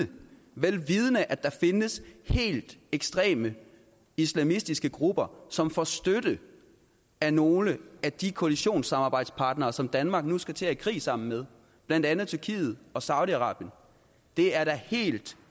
er vel vidende at der findes helt ekstreme islamistiske grupper som får støtte af nogle af de koalitionssamarbejdspartnere som danmark nu skal til at gå i krig sammen med blandt andet tyrkiet og saudi arabien det er da helt